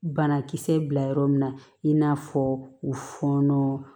Banakisɛ bila yɔrɔ min na i n'a fɔ u fɔnɔ